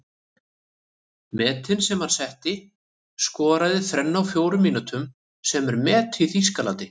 Metin sem hann setti:- Skoraði þrennu á fjórum mínútum sem er met í Þýskalandi.